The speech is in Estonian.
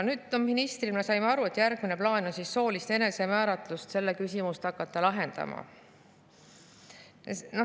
Ministri saime aru, et järgmisena on plaanis hakata lahendama soolise enesemääratluse küsimust.